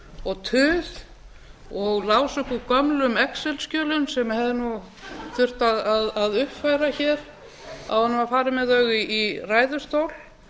og tuð og lásu upp úr gömlum excelskjölum sem hefði nú þurft að uppfæra hér áður en var farið með þau í ræðustól